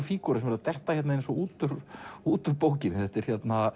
fígúra sem er að detta út úr út úr bókinni þetta er